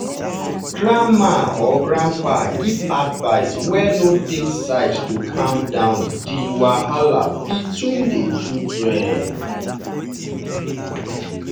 grandma or grandpa give advice wey no take side to calm down di wahala between the children